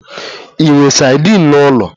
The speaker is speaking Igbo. Ị nwe sadin n'ụlọ?